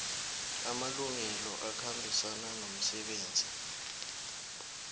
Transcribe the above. amalungelo akhambisana nomsebenzi